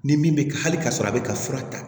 Ni min bɛ ka hali ka sɔrɔ a bɛ ka fura ta